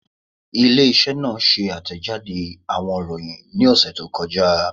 Ile-iṣẹ naa ṣe atẹjade awọn iroyin ni ọsẹ to kọja